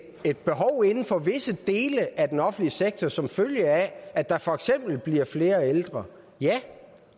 et behov inden for visse dele af den offentlige sektor som følge af at der for eksempel bliver flere ældre ja